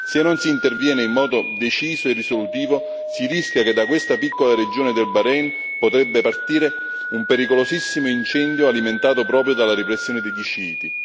Se non si interviene in modo deciso e risolutivo, si rischia che da questa piccola regione del Bahrein potrebbe partire un pericolosissimo incendio, alimentato proprio dalla repressione degli sciiti.